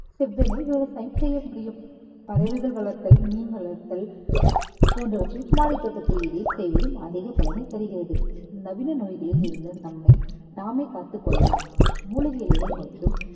செவ்வனே விவசாயம் செய்ய முடியும் பறவைகள் வளர்த்தல் மீன் வளர்த்தல் போன்றவற்றையும் மாடித்தோட்டத்தில் இடையே செய்வதும் அதிக பலனை தருகிறது. நவீன நோய்களில் இருந்து நம்மை நாமே பார்த்துக் கொள்ளலாம் மூலிகை இலைகள் மற்றும்